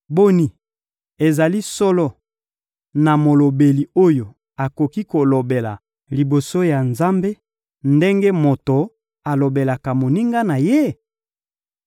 Boni, ezali solo na molobeli oyo akoki kolobela moto liboso ya Nzambe ndenge moto alobelaka moninga na ye?